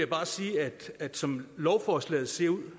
bare sige at som lovforslaget ser ud